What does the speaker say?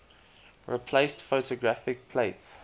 replaced photographic plates